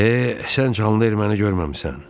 Eh, sən canlı erməni görməmisən.